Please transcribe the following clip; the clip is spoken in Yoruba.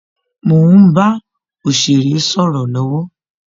Mo ń bá òsèré sọ̀rọ̀ lọwọ